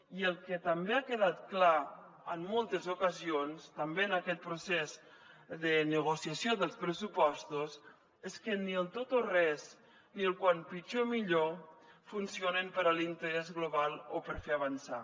i el que també ha quedat clar en moltes ocasions també en aquest procés de negociació dels pressupostos és que ni el tot o res ni el quan pitjor millor funcionen per a l’interès global o per fer avançar